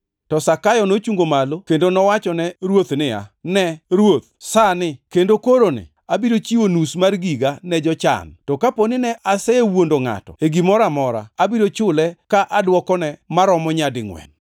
To Zakayo nochungo malo kendo nowachone Ruoth niya, “Ne Ruoth! Sani kendo koroni abiro chiwo nus mar giga ne jochan, to kapo ni ne asewuondo ngʼato e gimoro amora, abiro chule ka adwokone maromo nyadingʼwen.”